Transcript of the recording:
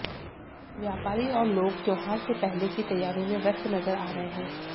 व्यापारी और लोग त्योहार से पहले की तैयारियों में व्यस्त नजर आ रहे हैं